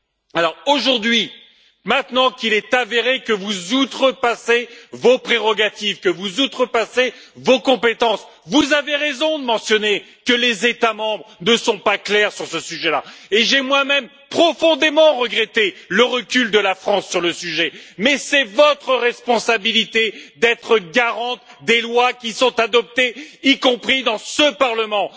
Alors aujourd'hui, maintenant qu'il est avéré que vous outrepassez vos prérogatives, que vous outrepassez vos compétences, vous avez raison de mentionner que les États membres ne sont pas clairs sur ce sujet là, et j'ai moi même profondément regretté le recul de la France sur le sujet, mais c'est votre responsabilité d'être garante des lois qui sont adoptées, y compris dans ce Parlement.